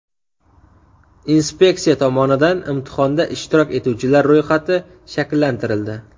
Inspeksiya tomonidan imtihonda ishtirok etuvchilar ro‘yxati shakllantirildi.